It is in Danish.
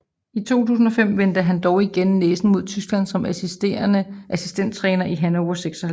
I 2005 vendte han dog igen næsen mod Tyskland som assistenttræner i Hannover 96